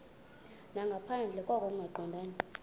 nangaphandle koko kungaqondani